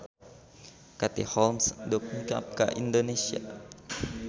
Katie Holmes dongkap ka Indonesia